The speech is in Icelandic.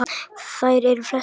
Þær eru flestar á